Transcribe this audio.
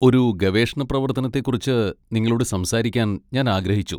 ഒരു ഗവേഷണ പ്രവർത്തനത്തെക്കുറിച്ച് നിങ്ങളോട് സംസാരിക്കാൻ ഞാൻ ആഗ്രഹിച്ചു.